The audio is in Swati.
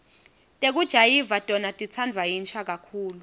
tekujayiva tona titsandvwa yinsha kakhulu